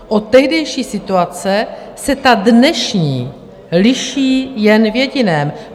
Od tehdejší situace se ta dnešní liší jen v jediném.